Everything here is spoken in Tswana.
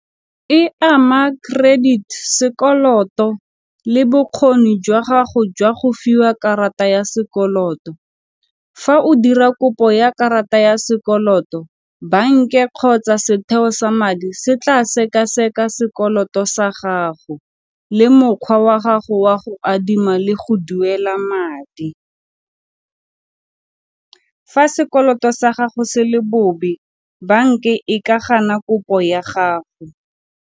E ama credit sekoloto le bokgoni jwa gago jwa go fiwa karata ya sekoloto, fa o dira kopo ya karata ya sekoloto, banka e kgotsa setheo sa madi se tla sekaseka sekoloto sa gago, le mokgwa wa gago wa go adima le go duela madi. Fa sekoloto sa gago se le bobe bank ke e ka gana kopo ya gago.